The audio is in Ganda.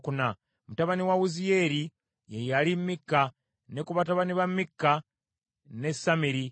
Mutabani wa Winziyeeri, ye yali Mikka; ne ku batabani ba Mikka, ne Samiri.